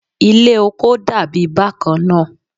Ile oko dabi bakanna